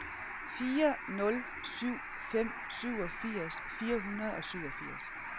fire nul syv fem syvogfirs fire hundrede og syvogfirs